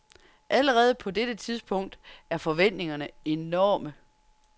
Allerede på dette tidspunkt er forventningerne enorme.